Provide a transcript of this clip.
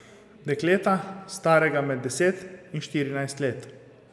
Dekleta, starega med deset in štirinajst let.